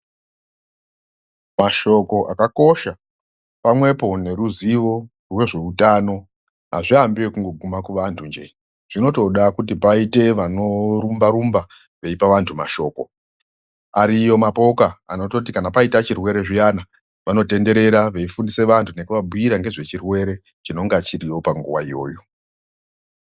Mashoko akakosha pamwepo neruzivo rwezveutano hazviambi ekungoguma kuvantu nje. Zvinotoda kuti paite vanorumba rumba veipa vantu mashoko. Ariyo mapoka anototi kana paita chirwere zviyana vanotendera veifundise vantu nekuvabhuirwa nezvechirwere chinenge chiriyo panguwa iyoyo.